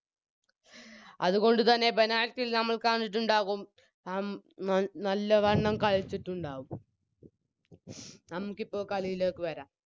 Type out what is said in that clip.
അതുകൊണ്ട് തന്നെ Penalty ൽ നമ്മൾ കണ്ടിട്ടുണ്ടാവും അം നല് നല്ലവണ്ണം കളിച്ചിട്ടുണ്ടാവും നമുക്കിപ്പോൾ കളിയിലേക്ക് വരാം